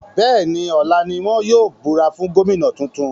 Bẹ́ẹ̀ni, ọ̀la ní wọn yóò búra fún Gómìnà tuntun